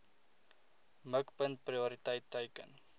mikpunt prioriteit teiken